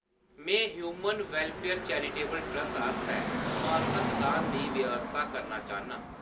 मैं human welfare charitable trust आस्तै मासक दान दी व्यवस्था करना चाह्‌न्नां।